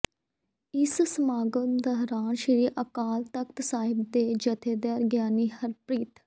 ਇਸ ਸਮਾਗਮ ਦੋਰਾਨ ਸ੍ਰੀ ਅਕਾਲ ਤਖ਼ਤ ਸਾਹਿਬ ਦੇ ਜਥੇਦਾਰ ਗਿਆਨੀ ਹਰਪ੍ਰੀਤ